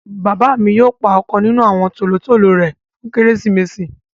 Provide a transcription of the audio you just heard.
Bàbà mi yóò pá ọ̀kan nínu àwọn tólotòlò rẹ fún Keresimesì.